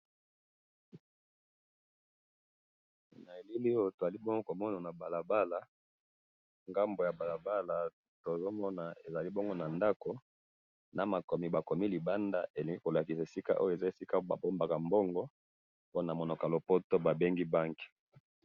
Awa na moni balabala, pe na ngambo ya balabala eza ndako ba komi na monoko ya lopoto Bank, esika ba bombaka Bank.